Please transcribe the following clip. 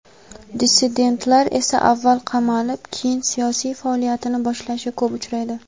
dissidentlar esa avval qamalib keyin siyosiy faoliyatini boshlashi ko‘p uchraydi.